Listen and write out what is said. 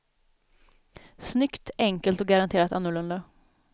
Snyggt, enkelt och garanterat annorlunda.